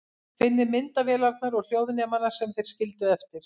Finnið myndavélarnar og hljóðnemana sem þeir skildu eftir.